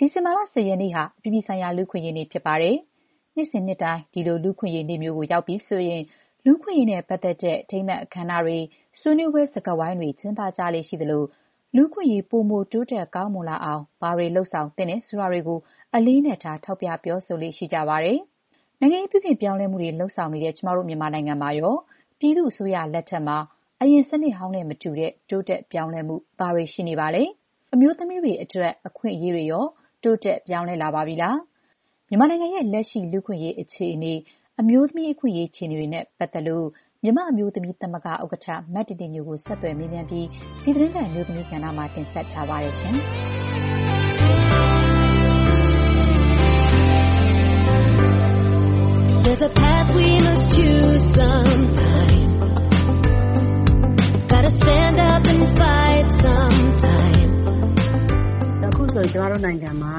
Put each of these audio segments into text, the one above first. ဒီဇင်ဘာလ ၁၀ ရက်နေ့ဟာ အပြည်ပြည်ဆိုင်ရာ လူ့အခွင့်အရေးနေ့ ဖြစ်ပါတယ်။ နှစ်စဉ်နှစ်တိုင်း ဒီလို လူ့အခွင့်အရေးနေ့ မျိုးမှာ လူ့အခွင့်အရေးနဲ့ပတ်သက်တဲ့ အထိမ်းအမှတ် အခမ်းအနားတွေ၊ ဆွေးနွေးပွဲ စကားဝိုင်းတွေ ကျင်းပကြလေ့ ရှိသလို၊ လူ့အခွင့်အရေး ပိုမို တိုးတက်ကောင်းမွန်လာအောင် ဘာတွေ လုပ်ဆောင်သင့်တယ် ဆိုတာတွေကို အလေးအနက်ထား ထောက်ပြ ပြောဆိုကြလေ့ရှိပါတယ်။ နိုင်ငံရေး ပြုပြင်ပြောင်းလဲမှုတွေ လုပ်ဆောင်နေတဲ့ ကျမတို့ မြန်မာနိုင်ငံမှာရော ပြည်သူ့ အစိုးရလက်ထက်မှာ အရင်စနစ်ဟောင်းနဲ့မတူတဲ့ တိုးတက်ပြောင်းလဲမှု ဘာတွေ ရှိနေပါလဲ။ အမျိုးသမီးတွေအတွက် အခွင့်အရေးတွေရော တိုးတက် ပြောင်းလဲ လာပါပြီလား။ မြန်မာနိုင်ငံရဲ့ လက်ရှိ လူ့အခွင့်အရေး အခြေအနေ၊ အမျိုးသမီး အခွင့်အရေး အခြေအနေတွေနဲ့ပတ်သက်လို့ မြန်မာ့အမျိုးသမီးသမဂ္ဂ ဥက္ကဋ္ဌ မတင်တင်ညိုကို ဆက်သွယ်မေးမြန်းပြီး ဒီသီတင်းပတ် အမျိုးသမီးကဏ္ဍမှာ မခင်ဖြူထွေးက တင်ဆက်ထားပါတယ်။ “အခုဆိုရင် ကျမတို့နိုင်ငံမှာ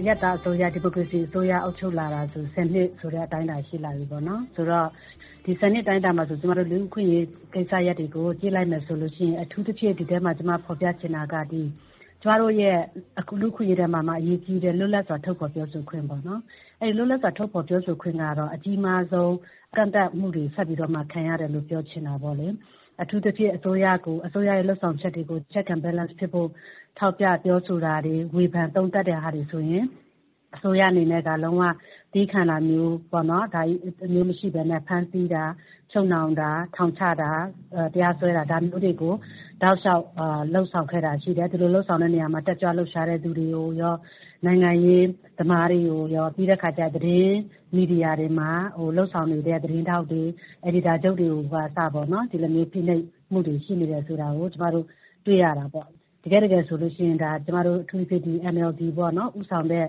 အရပ်သားအစိုးရ၊ ဒီမိုကရေစီအစိုးရ အုပ်ချုပ်လာတာ ၁၀ နှစ်ဆိုတဲ့ အတိုင်းအတာ ရှိလာပြီပေါ့နော်။ ဒီ ၁၀ နှစ် အတိုင်းအတာမှာ ကျမတို့ လူ့အခွင့်အရေး ကိစ္စရပ်တွေကို ကြည့်လိုက်မယ်ဆိုရင် အထူးသဖြင့် ဒီအထဲမှာ ကျမ ဖော်ပြချင်တာက ကျမတို့ရဲ့ လူ့အခွင့်အရေးထဲမှာမှ အရေးကြီးတဲ့ လွတ်လပ်စွာ ထုတ်ဖော်ပြောဆိုခွင့်ပေါ့နော်။ အဲ့ဒီ လွတ်လပ်စွာ ထုတ်ဖော် ပြောဆိုခွင့်ကတော့ အကြီးမားဆုံး ကန့်သတ်မှုတွေ ဆက်ပြီးတော့မှခံရတယ်လို့ ပြောချင်တာပေါ့လေ။ အထူးသဖြင့် အစိုးရကို၊ အစိုးရရဲ့ လုပ်ဆောင်ချက်တွေကို check and balance ဖြစ်ဖို့ ထောက်ပြပြောဆိုတာတွေ၊ ဝေဖန် သုံးသပ်တာတွေဆိုရင် အစိုးရအနေနဲ့ ဒါ သည်းခံတာမျိုးမရှိဘဲနဲ့ ဖမ်းဆီးတာ၊ ချုပ်နှောင်တာ၊ ထောင်ချတာ၊ တရားစွဲတာ၊ ဒါမျိုးတွေကို တောက်လေ ျှာက် လုပ်ဆောင်ခဲ့တာ ရှိတယ်။ ဒီလိုလုပ်ဆောင်တဲ့နေရာမှာ တက်ကြွလှုပ်ရှားသူတွေကို ရော နိုင်ငံရေးသမားတွေကိုရော၊ ပြီးတဲ့အခါ သတင်းမီဒီယာတွေမှာ လုပ်ဆောင်နေကြတဲ့ သတင်းထောက်တွေ၊ အယ်ဒီတာချုပ်တွေကိုကအစ ဒီလိုမျိုး ဖိနှိပ်မှုတွေ ရှိနေတယ်ဆိုတာကို ကျမတို့ တွေ့ရတာပေါ့။ တကယ့်တကယ်ဆိုရင် ကျမတို့ အထူးသဖြင့် ဒီ NLD ဦးဆောင်တဲ့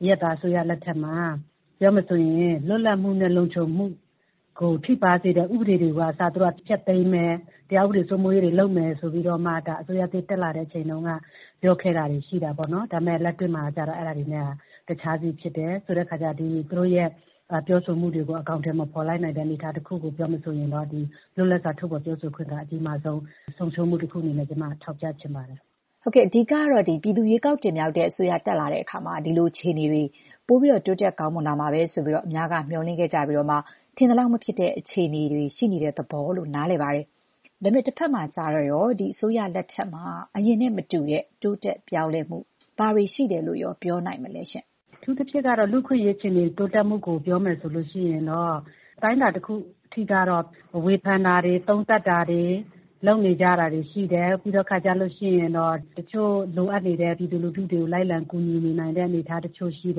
အရပ်သား အစိုးရ လက်ထက်မှာ ပြောရမယ်ဆိုရင် လွတ်လပ်မှုနဲ့ လုံခြုံမှုကို ထိပါးစေတဲ့ ဥပဒေတွေကို ကအစ သူတို့က ဖျက်သိမ်းမယ်။ တရားဥပဒေ စိုးမိုးရေးလုပ်မယ် ဆိုပြီးတော့မှ ဒါ အစိုးရသစ် တက်လာချိန်တုန်းက ပြောခဲ့တာတွေ ရှိတာပေါ့နော်။ ဒါပေမဲ့ လက်တွေ့မှာကတော့ အဲ့ဒါတွေနဲ့ တခြားစီဖြစ်တယ်။ ဆိုတဲ့အခါကျတော့ သူတို့ရဲ့ပြောဆိုမှုတွေကို အကောင်အထည် မဖော်လိုက်နိုင်တဲ့ အနေအထားတခုကို ပြောရမယ်ဆိုရင်တော့ ဒီ လွတ်လပ်စွာ ထုတ်ဖော်ပြောဆိုခွင့်က အကြီးမားဆုံး ဆုံးရှုံးမှု တခုအနေနဲ့ ကျမက ထောက်ပြချင်ပါတယ်။” အဓိက ကတော့ ပြည်သူရွေးကောက်တင်မြှောက်တဲ့ အစိုးရတက်လာတဲ့အခါမှာ ဒီလိုအခြေအနေတွေတော့ ပိုပြီးတော့ တိုးတက်ကောင်းမွန်လာမှာပဲလို့ အများက မေ ျှာ်လင့်ခဲ့ကြပြီးတော့မှ ထင်သလောက် မဖြစ်တဲ့ အခြေအနေေတွေ ရှိနေတဲ့သဘောလို့ နားလည်ပါတယ်။ ဒါပေမဲ့ တဘက်မှာကျတော့ရော ဒီ အစိုးရလက်ထက်မှာ အရင်နဲ့မတူတဲ့ တိုးတက်ပြောင်းလဲမှု ဘာတွေများရှိတယ်လို့ ပြောနိုင်မလဲရှင့်။ “အထူးသဖြင့်ကတော့ လူ့အခွင့်အရေး အခြေအနေ တိုးတက်မှုကို ပြောမယ်ဆိုလို့ရှိရင်တော့ အတိုင်းအတာ တခုအထိကတော့ ဝေဖန်တာတွေ၊ သုံးသပ်တာတွေ လုပ်နေကြတာတွေ ရှိတယ်။ နောက်ပြီးတဲ့အခါကျလို့ရှိရင် တချို့ လိုအပ်နေတဲ့ ပြည်သူလူထုတွေကို လိုက်လံ ကူညီနေနိုင်တဲ့ အနေအထားတချို့ ရှိတ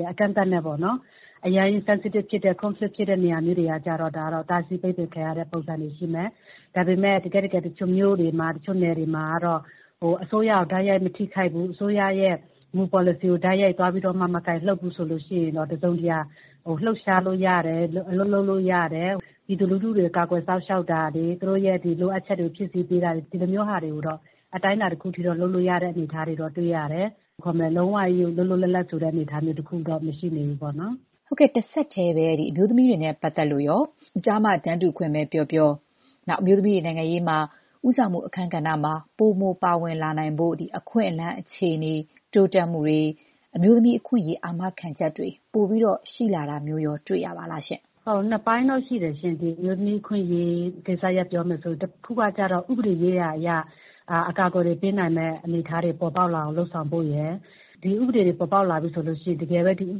ယ်။ အကန့်အသတ်နဲ့ပေါ့နော်။ အရမ်း sensitive ဖြစ်တဲ့ conflict ဖြစ်တဲ့နေရာမျိုးတွေကတော့ ဒါ တားဆီးပိတ်ပင်ခံရတဲ့ ပုံစံမျိုးတွေ ရှိမယ်။ ဒါပေမဲ့ တကယ့်တကယ် တချို့မြို့တွေမှာ တချို့နယ်တွေမှာတော့ အစိုးရကို တိုက်ရိုက် မထိခိုက်ဘူး။ အစိုးရရဲ့ မူ ပေါ်လစီကို တိုက်ရိုက် မကိုင်လှုပ်ဘူးဆိုရင်တော့ တစုံတရာ လှုပ်ရှားလို့ရတယ်။ အလုပ် လုပ်လို့ရတယ်။ ပြည်သူလူထုတွေကို ကာကွယ်စောင့်ရှောက်တာတွေ၊ သူတို့ရဲ့ လိုအပ်ချက်တွေကို ဖြည့်ဆည်းပေးတာတွေ။ ဒီလိုမျိုးဟာတွေကိုတော့ အတိုင်းအတာတခုအထိ လုပ်လို့ရတဲ့ အနေအထားတွေတော့ တွေ့ရတယ်။ လုံးဝကြီး လွတ်လွတ်လပ်လပ်ဆိုတဲ့ အနေအထား တခုတော့ မရှိနေဘူးပေါ့နော်။” ဟုတ်ကဲ့။ တဆက်တည်းပဲ အမျိုးသမီးတွေနဲ့ပတ်သက်လို့ရော ကျား-မ တန်းတူ အခွင့်အရေးပဲပြောပြော၊ အမျိုးသမီးတွေ နိုင်ငံရေးမှာ ဦးဆောင်မှုအခန်းကဏ္ဍမှာ ပိုမို ပါဝင်လာနိုင်ဖို့ အခွင့်အလမ်း အခြေအနေ တိုးတက်မှုတွေ၊ အမျိုးသမီးအခွင့်အရေး အာမခံချက်တွေ ပိုပြီး ရှိလာတာမျိုးရော တွေ့ရပါလားရှင့်။ “ဟုတ်ကဲ့။ နှစ်ပိုင်းတော့ရှိတယ်ရှင့်။ ဒီအမျိုးသမီး အခွင့်အရေးကိစ္စရပ်ကို ပြောမယ်ဆိုလို့ရှိရင် တခုကကျတော့ ဥပဒေရေးရာအရ အကာအကွယ်တွေ ပေးနိုင်မယ့် အနေအထားတွေ ပေါ်ပေါက်လာအောင် လုပ်ဆောင်ဖို့ရယ်။ ဒီဥပဒေတွေ ပေါ်ပေါက်လာပြီဆိုရင် တကယ်ပဲ ဒီဥ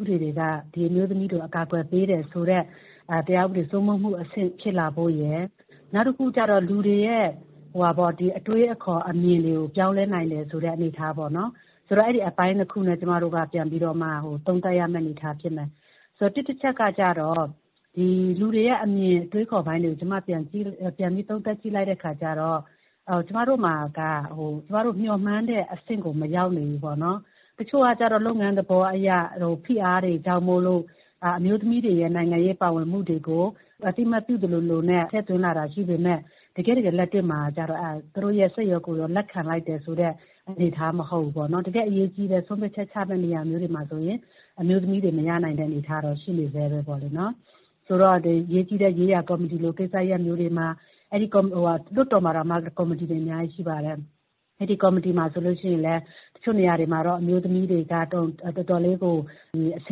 ပဒေတွေက ဒီအမျိုးသမီးတွေကို အကာအကွယ်ပေးတယ်ဆိုတဲ့ တရားဥပဒေ စိုးမိုးမှုအဆင့် ဖြစ်လာဖို့ရယ်။ နောက်တခုကျတော့ လူတွေရဲ့ အတွေးအခေါ် အမြင်တွေကို ပြောင်းလဲနိုင်တယ်ဆိုတဲ့ အနေအထားပေါ့နော်။ ဆိုတော့ အဲ့ဒီအပိုင်းနှစ်ခုနဲ့ ကျမတို့က ပြန်ပြီးတော့ သုံးသပ်ရမယ့် အနေအထား ဖြစ်မယ်။ ဆိုတော့ တစ်တချက်က ကျတော့ လူတွေရဲ့အမြင် အတွေးအခေါ်ပိုင်းတွေကို ကျမ ပြန်ပြီး သုံးသပ်ကြည့်တဲ့အခါကျတော့ ကျမတို့မှာက ကျမတို့မေ ျှာ်မှန်းတဲ့အဆင့်ကို မရောက်နေဘူးပေါ့။ တချို့ကကျတော့ လုပ်ငန်းသဘောအရ ဖိအားတွေကြောင့်မိုလို့ အမျိုးသမီးတွေရဲ့ နိုင်ငံရေး ပါဝင်မှုတွေကို အသိအမှတ်ပြုသလိုလိုနဲ့ ထည့်သွင်းလာတာ ရှိပေမဲ့ တကယ့်တကယ် လက်တွေ့မှာ ကျတော့ သူတို့ရဲ့ စိတ်ရောကိုယ်ပါ လက်ခံလိုက်တယ်ဆိုတဲ့ အနေအထား မဟုတ်ဘူးပေါ့နော်။ တကယ့် အရေးကြီးတဲ့ ဆုံးဖြတ်ချက် ချရမယ့်နေရာမျိုးတွေမှာဆိုရင် အမျိုးသမီးတွေ မရနိုင်တဲ့ အနေအထားကတော့ ရှိနေဆဲပါပဲ။ ဆိုတော့ အရေးကြီးတဲ့ ရေးရာကော်မတီလို ကိစ္စရပ်မျိုးတွေမှာ။ လွှတ်တော်မှာတောင်မှ ကော်မတီတွေ အများကြီးရှိပါတယ်။ အဲ့ဒီကော်မတီတွေမှာဆိုရင်လည်း တချို့ နေရာတွေမှာတော့ အမျိုးသမီးတွေက တော်တော်လေးကို အဆ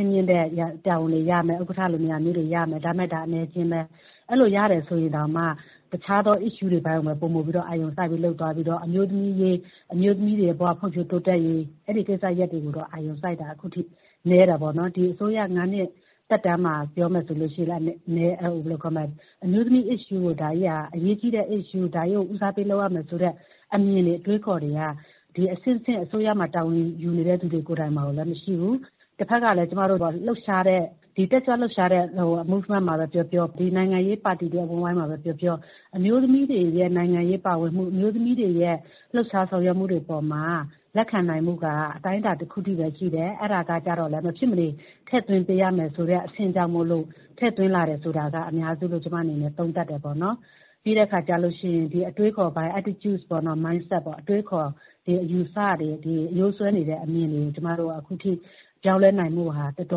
င့်မြင့်တဲ့ တာဝန်တွေရမယ်။ ဥက္ကဋ္ဌလို နေရာမျိုးတွေရမယ်။ ဒါပေမဲ့ ဒါက အနည်းအကျဉ်းပဲ။ အဲ့ဒီလို ရတယ်ဆိုရင်တောင်မှ တခြားသော အကြောင်းအရာတွေကိုပဲ ပိုမိုအာရုံစိုက် လုပ်သွားပြီးတော့ အမျိုးသမီးရေး၊ အမျိုးသမီးတွေရဲ့ဘ၀ ဖွံ့ဖြိုးတိုးတက်ရေး ဆိုတဲ့ အဲ့ဒီကိစ္စရပ်တွေကိုတော့ အာရုံစိုက်တာ အခုထိ နည်းတယ်ပေါ့နော်။ ဒီအစိုးရ ၅ နှစ်သက်တမ်းမှာ ပြောရမယ်ဆိုလို့ရှိရင် အမျိုးသမီး issue ကို ဒါကြီးက အရေးကြီးတဲ့ issue ၊ ဒါကြီးကို ဦးစားပေး လုပ်ရမယ်ဆိုတဲ့ အမြင်တွေ အတွေးအခေါ်တွေက အဆင့်ဆင့် အစိုးရမှာ တာဝန်ယူနေတဲ့သူတွေ ကိုယ်တိုင်မှာလည်း မရှိဘူး။ တဘက်ကလည်း ကျမတို့ တက်ကြွလှုပ်ရှားတဲ့ လှုပ်ရှားမှုမှာပဲ ပြောပြော၊ နိုင်ငံရေးပါတီတွေ အဝန်းအဝိုင်းမှာပဲပြောပြော အမျိုးသမီးတွေရဲ့ နိုင်ငံရေး ပါဝင်မှု၊ အမျိုးသမီးတွေရဲ့ လှုပ်ရှား ဆောင်ရွက်မှုတွေပေါ်မှာ လက်ခံနိုင်မှုက အတိုင်းအတာ တခုအထိပဲ ရှိတယ်။ အဲ့ဒါကကျတော့လည်း မဖြစ်မနေ ထည့်သွင်းပေးရမယ်ဆိုတဲ့ အဆင့်ကြောင့်မိုလို့ ထည့်သွင်းလာတယ်ဆိုတာက အများစုလို့ ကျမ အနေနဲ့ သုံးသပ်တယ်ပေါ့နော်။ ပြီးခဲ့အခါကျလို့ရှိရင် အတွေးအခေါ်ပိုင်း attitude ၊ mindset တွေပေါ့။ အတွေးအခေါ်တွေ အယူအဆတွေ အရိုးစွဲနေတဲ့အမြင်တွေကို ကျမတို့က အခုထိ ပြောင်းလဲနိုင်ဖို့မှာတော့ တော်တ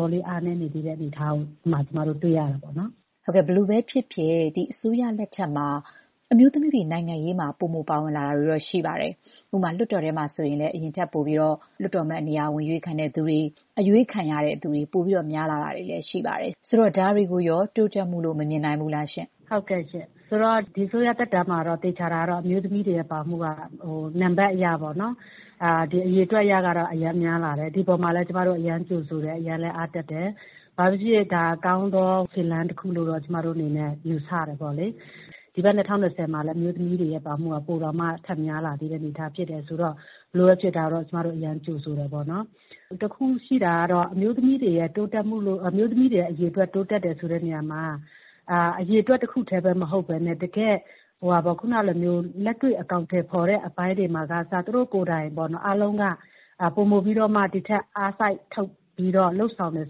ော်လေး အားနည်းနေသေးတာကို ကျမတို့ တွေ့ရတာပေါ့နော်။” ဟုတ်ကဲ့ ဘယ်လိုပဲဖြစ်ဖြစ် ဒီအစိုးရလက်ထက်မှာ အမျိုးသမီးတွေ နိုင်ငံရေးမှာ ပိုမို ပါဝင်လာတာတွေတော့ ရှိပါတယ်။ ဥပမာ လွှတ်တော်ထဲမှာဆိုရင်လည်း အရင်ထက်ပိုပြီး လွှတ်တော်အမတ်နေရာ ဝင် အရွေးခံတဲ့သူတွေ၊ အရွေးခံရသူတွေ ပိုများလာတာမျိုးတွေလည်း ရှိပါတယ်။ ဆိုတော့ ဒါတွေကိုရော တိုးတက်မှုလို့ မမြင်နိုင်ဘူးလားရှင့်။ “ဟုတ်ကဲ့ရှင့်။ ဆိုတော့ ဒီအစိုးရသက်တမ်းမှာ တော့ သေချာတာကတော့ အမျိုးသမီးတွေရဲ့ ပါဝင်မှုက နံပါတ်အရပေါ့နော်။ အရေအတွက် အရကတော့ အရမ်းများလာတယ်။ ဒီအပေါ်မှာလည်း ကျမတို့ အရမ်းကြိုဆိုတယ်။ အရမ်းလည်း အားတက်တယ်။ ဘာပဲဖြစ်ဖြစ် ဒါက ကောင်းသောခြေလှမ်းတခုလို့တော့ ကျမတို့ အနေနဲ့ ယူဆတယ်ပေါ့လေ။ ဒီဘက် ၂၀၂၀ မှာလည်း အမျိုးသမီးတွေရဲ့ ပါဝင်မှုက ပိုတောင်မှ ထပ်များလာသေးတဲ့ အနေအထား ဖြစ်တယ်ဆိုတော့ ဘယ်လိုပဲဖြစ်ဖြစ် ဒါကိုတော့ ကျမတို့အရမ်းကို ကြိုဆိုပါတယ်။ တခုရှိတာကတော့ အမျိုးသမီးတွေရဲ့ အရေအတွက် တိုးတက်တယ်ဆိုတဲ့နေရာမှာ အရေအတွက် တခုတည်းမဟုတ်ဘဲနဲ့ တကယ့် လက်တွေ့ အကောင်အထည်ဖော်တဲ့ အပိုင်းတွေမှာကအစ သူတို့ကိုယ်တိုင် အားလုံးက ပိုမိုပြီးတော့မှ ဒီ့ထက် အားစိုက်ထုတ်ပြီးတော့ လုပ်ဆောင်တယ်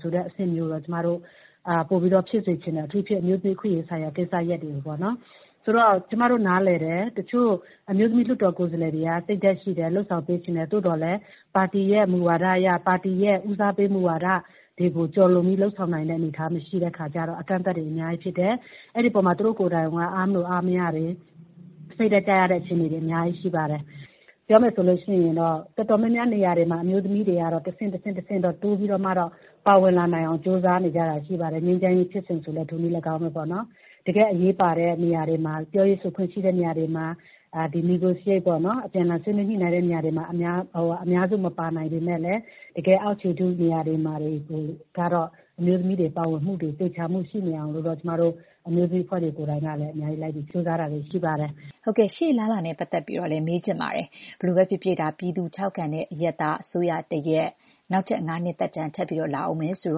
ဆိုတဲ့ အဆင့်မျိုးကိုတော့ ပိုပြီးတော့ ဖြစ်စေချင်တယ်။ အထူးသဖြင့် အမျိုးသမီး အခွင့်အရေးဆိုင်ရာ ကိစ္စရပ်တွေကိုပေါ့။ ဆိုတော့ ကျမတို့ နားလည်တယ်။ တချို့အမျိုးသမီး လွှတ်တော်ကိုယ်စားလှယ်တွေက စိတ်ဓာတ်ရှိတယ်။ လုပ်ဆောင်ပေးချင်တယ်။ သို့သော်လည်း ပါတီရဲ့ မူဝါဒအရ၊ ပါတီရဲ့ ဦးစားပေး မူဝါဒတွေကို ကျော်လွန်ပြီး လုပ်ဆောင်ပေးနိုင်မှု မရှိတဲ့အခါကျတော့ အကန့်အသတ်တွေ အများကြီးရှိတယ်။ အဲ့ဒီအပေါ်မှာ သူတို့ကိုယ်တိုင် အားမလိုအားမရတာတွေ စိတ်ဓာတ်ကျရတဲ့ အခြေအနေတွေ အများကြီး ရှိပါတယ်။ ပြောမယ်ဆိုလို့ရှိရင်တော့ တော်တော်များများ နေရာတွေမှာ အမျိုးသမီးတွေကတော့ တဆင့်တဆင့် တိုးပြီးတော့မှတော့ ပါဝင်လာနိုင်အောင် ကြိုးစားနေကြတာ ရှိပါတယ်။ ငြိမ်းချမ်းရေးဖြစ်စဉ် ဆိုရင်လည်း ထိုနည်းလည်းကောင်းပဲပေါ့နော်။ တကယ့် အရေးပါတဲ့နေရာတွေမှာ ပြောရေးဆိုခွင့်ရှိတဲ့နေရာတွေမှာ၊ အပြန်အလှန် ဆွေးနွေးညှိနှိုင်းတဲ့ နေရာတွေမှာ အများစု မပါနိုင်ပေမဲ့လည်း တကယ် အောက်ခြေထု နေရာတွေမှာကတော့ အမျိုးသမီးတွေ ပါဝင်မှုတွေ ရှိနေအောင်လို့တော့ ကျမတို့ အမျိုးသမီးအဖွဲ့တွေ ကိုယ်တိုင်ကလည်း အများကြီး လိုက်ပြီး ကြိုးစားတာတွေ ရှိပါတယ်။” ဟုတ်ကဲ့ ရှေ့အလားအလာနဲ့ ပတ်သက်ပြီးတော့လည်း မေးချင်ပါတယ်။ ဘယ်လိုပဲဖြစ်ဖြစ် ပြည်သူထောက်ခံတဲ့ အရပ်သား အစိုးရတရပ် နောက်ထပ် ၅ နှစ်သက်တမ်း ထပ်လာဦးမယ်ဆို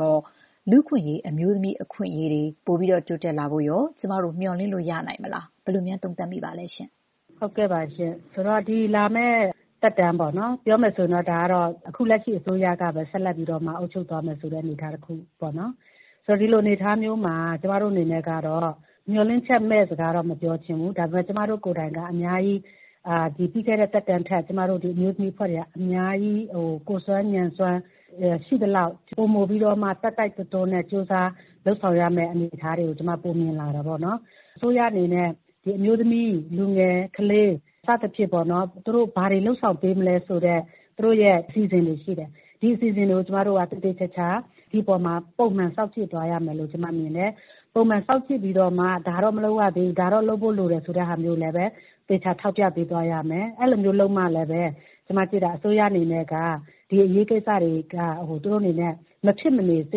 တော့ လူ့အခွင့်အရေးတွေ၊ အမျိုးသမီး အခွင့်အရေးတွေ အရင်ထက်ပိုပြီး တိုးတက်လာဖို့ရော ကျမတို့ မေ ျှာ်လင့်လို့ ရနိုင်မလား။ ဘယ်လိုများသုံးသပ်မိပါလဲရှင့်။ “ဟုတ်ကဲ့ပါရှင့်။ ဒီလာမယ့် သက်တမ်းပေါ့နော်။ ပြောမယ်ဆိုရင်တော့ အခုလက်ရှိအစိုးရကပဲ ဆက်လက်ပြီးတော့ အုပ်ချုပ်သွားမယ်ဆိုတဲ့ အနေအထား တခုပေါ့နော်။ ဆိုတော့ ဒီလို အနေအထားမျိုးမှာ ကျမတို့ အနေနဲ့ကတော့ မေ ျှာ်လင့်ချက်မဲ့ စကားတော့ မပြောချင်ဘူး။ ဒါပေမဲ့ ကျမတို့ကိုယ်တိုင်က အများကြီး ဒီပြီးခဲ့တဲ့သက်တမ်းထက် ကျမတို့ အမျိုးသမီးအဖွဲ့တွေက အများကြီး ကိုယ်စွမ်းဉာဏ်စွမ်း ရှိသလောက် ပိုမိုပြီးတော့မှ တိုက်တိုက်တွန်းတွန်း ကြိုးစားလုပ်ဆောင်ရမယ့် အနေအထားတွေကို ကျမ ပိုမြင်လာတယ်ပေါ့နော်။ အစိုးရအနေနဲ့ ဒီ အမျိုးသမီး၊ လူငယ်၊ ကလေး စသဖြင့်ပေါ့နော်။ သူတို့ဘာတွေ လုပ်ဆောင်ပေးမလဲ ဆိုတဲ့ သူတို့ရဲ့ အစီအစဉ်တွေ ရှိတယ်။ ဒီအစီအစဉ်တွေကို ကျမတို့က သေသေချာချာ ကျမတို့က ပုံမှန် စောင့်ကြည့်သွားရမယ်လို့ ကျမ မြင်တယ်။ ပုံမှန်စောင့်ကြည့်ပြီးတော့မှ ဒါတော့ မလုပ်ရသေးဘူး။ ဒါတော့လုပ်ဖို့လိုတယ် ဆိုတဲ့ဟာမျိုးကိုလည်း သေချာ ထောက်ပြပေးသွားရမယ်။ အဲ့ဒီလိုမျိုး လုပ်မှလည်း အစိုးရအနေနဲ့က ဒီအရေးကိစ္စတွေက သူတို့အနေနဲ့ မဖြစ်မနေ စ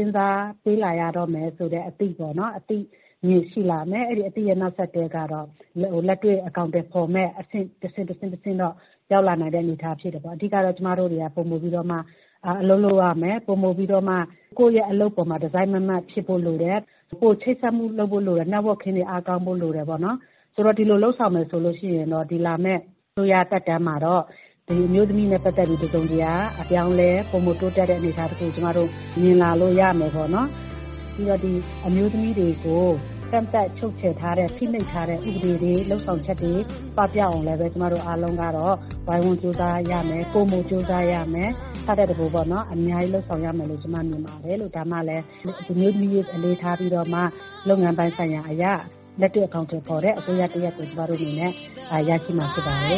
ဉ်းစားပေးလာရတော့မယ်ဆိုတဲ့အသိပေါ့နော်။ အသိတွေရှိလာမယ်။ အဲ့ဒီအသိရဲ့ နောက်ဆက်တွဲကတော့ လက်တွေ့ အကောင်အထည် ဖော်မယ့် အဆင့်။ တဆင့်ပြီးတဆင့်တော့ ရောက်လာနိုင်တဲ့ အနေအထား ဖြစ်တယ်ပေါ့။ အဓိက ကတော့ ကျမတို့တွေက ပိုမိုပြီးတော့မှ အလုပ် လုပ်ရမယ်။ ပိုမိုပြီးတော့မှ ကိုယ့်ရဲ့အလုပ်အပေါ်မှာ တစိုက်မတ်မတ် ဖြစ်ဖို့လိုတယ်။ ပိုပြီး ချိတ်ဆက်ဖို့လိုတယ်။ Networking တွေ အားကောင်းဖို့လိုတယ်ပေါ့နော်။ ဒီလို လုပ်ဆောင်မယ်ဆိုရင်တော့ ဒီလာမယ့် အစိုးရသက်တမ်းမှာတော့ ဒီအမျိုးသမီးတွေနဲ့ပတ်သက်ပြီး တစုံတရာ အပြောင်းအလဲ ပိုမိုတိုးတက်တဲ့ အနေအထားတခုကို ကျမတို့ မြင်လာလို့ရမယ်ပေါ့နော်။ ပြီးတော့ ကျမတို့အမျိုးသမီးတွေကို ကန့်သတ်ချုပ်ချယ်ထားတဲ့ ဖိနှိပ်ထားတဲ့ ဥပဒေတွေ လုပ်ဆောင်ချက်တွေ ပပျောက်အောင်လည်း ကျမတို့ အားလုံးကတော့ ဝိုင်းဝန်း ကြိုးစားရမယ်။ ပိုမိုကြိုးစားရမယ်။ ဆထက်တပိုး အများကြီး လုပ်ဆောင်ရမယ်လို့ ကျမ မြင်ပါတယ်။ ဒါမှလဲ အမျိုးသမီးရေးကို အလေးထားပြီးတော့မှ လုပ်ငန်းပိုင်းဆိုင်ရာအရ လက်တွေ့ အကောင်အထည်ဖော်တဲ့ အစိုးရတရပ်ကို ကျမတို့အနေနဲ့ ရရှိမှာဖြစ်ပါတယ